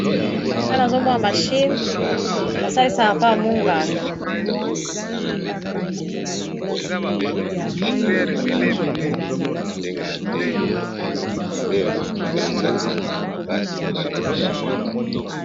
Awa nazomoa mashimi basalisa apa munganga